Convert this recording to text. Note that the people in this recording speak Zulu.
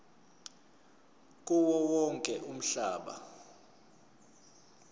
kuwo wonke umhlaba